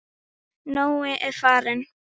Nói er farinn.